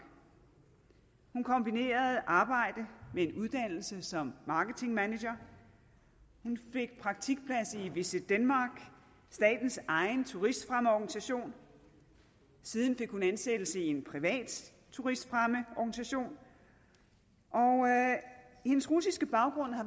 hun kombinerede arbejde med en uddannelse som marketingmanager hun fik praktikplads i visitdenmark statens egen turistfremmeorganisation siden fik hun ansættelse i en privat turistfremmeorganisation og hendes russiske baggrund har